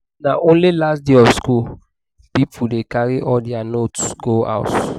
na only last day of school people dey carry all their notes go house.